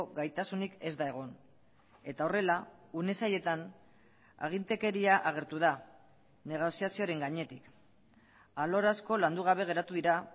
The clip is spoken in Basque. gaitasunik ez da egon eta horrela une zailetan agintekeria agertu da negoziazioaren gainetik alor asko landu gabe geratu dira